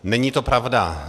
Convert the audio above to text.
Není to pravda.